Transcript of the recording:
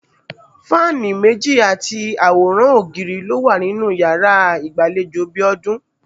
Fáànì méjì àti àwòrán ògiri ló wà nínú yàra ìgbàlejò Bíó̩dún